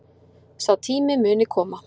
Sá tími muni koma